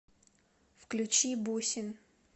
включи бусин